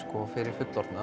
fyrir fullorðna